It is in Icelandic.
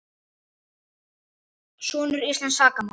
Sönn íslensk sakamál